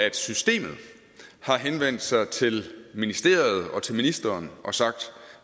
at systemet har henvendt sig til ministeriet og til ministeren og sagt